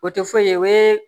O tɛ foyi ye o ye